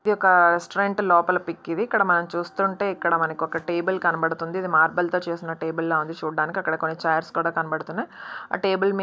ఒక రెస్టారెంట్ లోపల పిక్ ఇది ఇక్కడ మనం చూస్తుంటే ఇక్కడ మనకి ఒక టేబుల్ కనబడుతుంది. ఇది మార్బల్ తో చేసిన టేబుల్ లా ఉంది చూడ్డానికి అక్కడ కొన్ని చైర్ స్ కూడా కనబడుతున్నాయి.